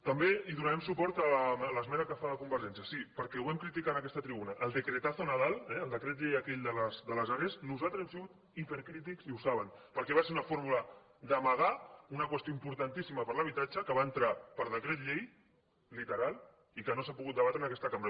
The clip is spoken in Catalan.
també hi donarem suport a l’esmena que fa convergència sí perquè ho vam criticar en aquesta tribuna amb el decretazo nadal eh el decret llei aquell de les are nosaltres hem sigut hipercrítics i ho saben perquè va ser una forma d’amagar una qüestió importantíssima per a l’habitatge que va entrar per decret llei literal i que no s’ha pogut debatre en aquesta cambra